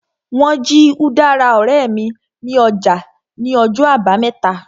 Wọ́n jí udara ọ̀rẹ́ mi ní ọjà ní ọjọ́ àbámẹ́ta